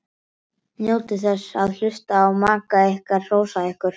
Eða kannski brún sósa með hrygg?